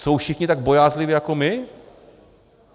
Jsou všichni tak bojázliví jako my?